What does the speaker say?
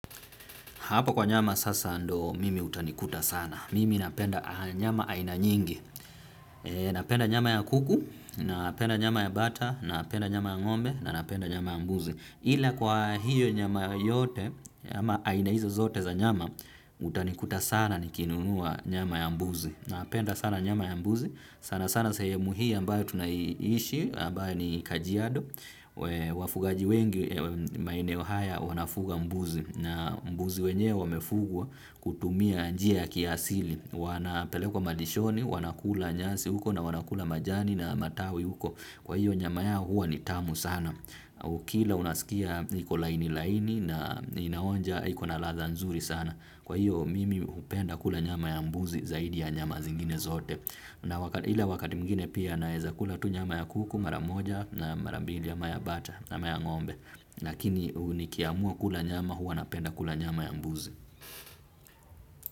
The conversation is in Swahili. Hapo kwa nyama sasa ndo mimi utanikuta sana. Mimi napenda nyama aina nyingi. Napenda nyama ya kuku, napenda nyama ya bata, napenda nyama ya ngombe, napenda nyama ya mbuzi. Ile kwa hiyo nyama yote, ama aina hizo zote za nyama, utanikuta sana nikinunua nyama ya mbuzi. Napenda sana nyama ya mbuzi. Sana sana sahemu hii ambayo tunaiishi, ambayo ni kajiado. Wafugaji wengi, maeneo haya, wanafuga mbuzi. Na mbuzi wenyewe wamefugwa kutumia njia ya kiasili. Wanapelekwa kwa malishoni, wanakula nyasi huko na wanakula majani na matawi huko. Kwa hiyo nyama yao huwa ni tamu sana. Ukila unasikia hiko laini laini na inaonja iko na latha nzuri sana. Kwa hiyo mimi upenda kula nyama ya mbuzi zaidi ya nyama zingine zote. Ila wakati mwingine pia naezakula tu nyama ya kuku mara moja na mara mbili ama ya bata ama ya ngombe. Lakini ni kiamua kula nyama huwa napenda kula nyama ya mbuzi.